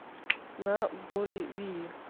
на боливии